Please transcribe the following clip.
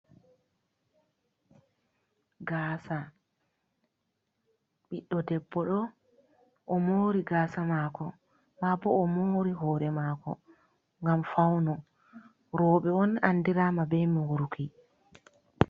Gaasa, ɓiɗdo debboɗo o moori gaasa mɗako, maa boo o moori hoore maako ngam fawnugo rooɓe on anndiraama bee mooruki.